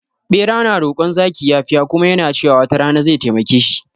Bera na rokon zaki yafiya kuma yana cewa wata rana zai taimake shi